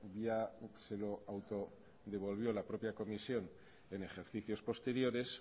ya se lo autodevolvió la propia comisión en ejercicios posteriores